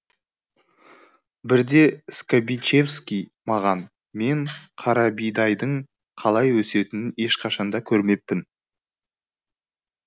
бірде скабичевский маған мен қарабидайдың қалай өсетінін ешқашанда көрмеппін